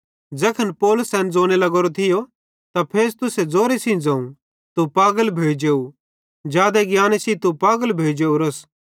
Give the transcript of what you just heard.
ज़ैखन पौलुस एन ज़ोने लग्गोरो थियो त फेस्तुस ज़ोरे सेइं ज़ोवं तू पागल भोइ जेव जादे ज्ञाने सेइं तू पागल भोइजेवरोस